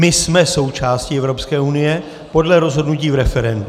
My jsme součástí Evropské unie podle rozhodnutí v referendu.